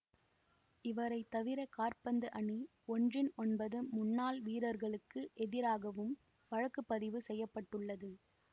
இவரை தவிர காற்பந்து அணி ஒன்றின் ஒன்பது முன்னாள் வீரர்களுக்கு எதிராகவும் வழக்கு பதிவு செய்ய பட்டுள்ளது